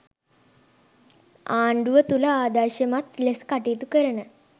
ආණ්ඩුව තුළ ආදර්ශමත් ලෙස කටයුතු කරන